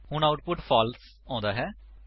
ਹੁਣ output false ਆਉਂਦਾ ਹੈ